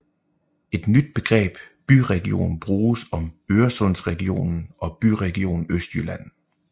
Et nyt begreb byregion bruges om Øresundsregionen og Byregion Østjylland